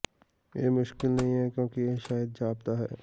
ਇਹ ਮੁਸ਼ਕਲ ਨਹੀਂ ਹੈ ਕਿਉਂਕਿ ਇਹ ਸ਼ਾਇਦ ਜਾਪਦਾ ਹੈ